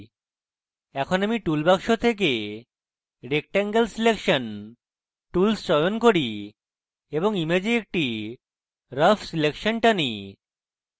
এখন আমি টুলবাক্স থেকে rectangle selection tools চয়ন করি এবং image একটি rough selection টানি